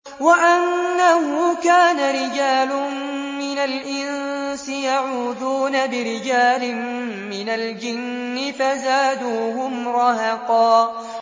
وَأَنَّهُ كَانَ رِجَالٌ مِّنَ الْإِنسِ يَعُوذُونَ بِرِجَالٍ مِّنَ الْجِنِّ فَزَادُوهُمْ رَهَقًا